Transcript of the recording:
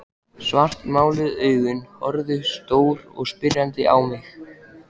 Svartmáluð augun horfðu stór og spyrjandi á mig.